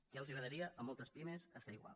ja els agradaria a moltes pimes estar igual